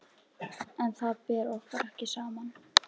En þar ber okkur ekki saman.